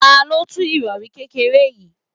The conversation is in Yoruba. Ta ló tú irori kékeré yìí?